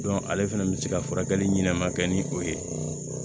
ale fɛnɛ bɛ se ka furakɛli ɲɛnama kɛ ni o ye